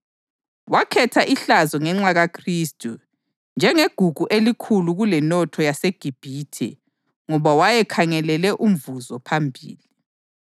Wakhetha ihlazo ngenxa kaKhristu njengegugu elikhulu kulenotho yaseGibhithe ngoba wayekhangelele umvuzo phambili.